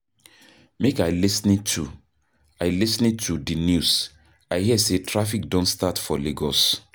Make I lis ten to I lis ten to di news, I hear say traffic don start for Lagos.